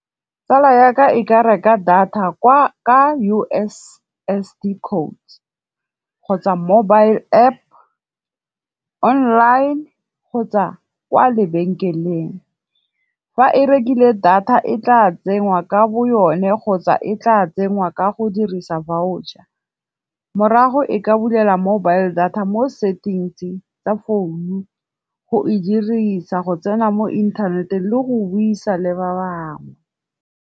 Tsala yaka e ka reka data kwa ka U_S_S_D code kgotsa mobile App, online kgotsa kwa lebenkeleng. Fa e rekile data e tla tsengwa ka bo yone kgotsa e tla tsengwa ka go dirisa voucher. Morago e ka bulela mobile data mo settings-ing tsa founu, go e dirisa go tsena mo inthaneteng le go buisa le ba bangwe.